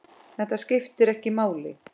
Þetta skiptir ekki máli.